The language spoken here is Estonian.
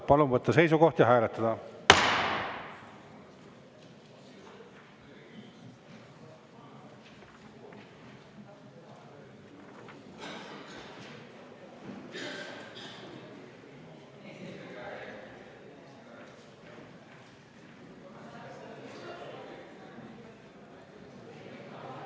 Palun võtta seisukoht ja hääletada!